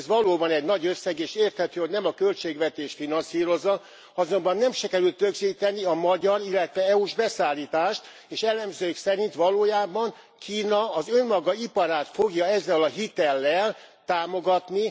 Ez valóban egy nagy összeg, és érthető, hogy nem a költségvetés finanszírozza, azonban nem sikerült közzétenni a magyar, illetve EU s beszállítást, és elemzők szerint valójában Kína az önmaga iparát fogja ezzel a hitellel támogatni.